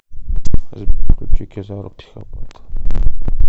сбер включи кизару психопат лунатик